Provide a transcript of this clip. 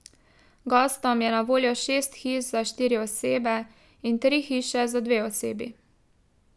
Gostom je na voljo šest hiš za štiri osebe in tri hiše za dve osebi.